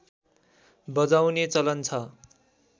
बजाउने चलन छ